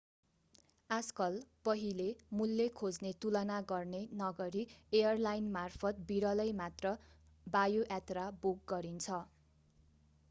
आजकल पहिले मूल्य खोज्ने तुलना गर्ने नगरी एयरलाइनमार्फत विरलै मात्र वायुयात्रा बुक गरिन्छ